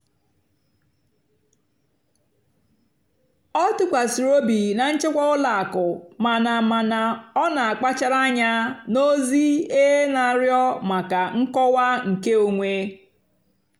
ọ́ tụ́kwàsìrì óbì nà nchèkwà ùlọ àkụ́ màná màná ọ́ nà-àkpàchárá ànyá nà ózì-é nà-àrịọ́ màkà nkọ́wá nkèónwé.